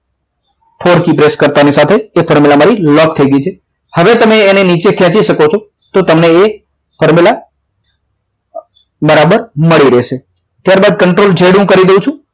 four key press કરતા ની સાથે એ four મારી લોક થઈ ગઈ છે હવે તમે એની નીચે ખેંચી શકો છો તો તમને એ formula બરાબર મળી રહેશે ત્યારબાદ contol જે add હું કરી દઉં છું